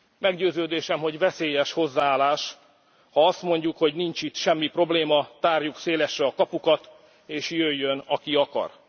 Meggyőződésem, hogy veszélyes hozzáállás, ha azt mondjuk, hogy nincs itt semmi probléma, tárjuk szélesre a kapukat és jöjjön, aki akar.